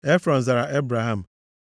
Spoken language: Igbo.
Efrọn zara Ebraham,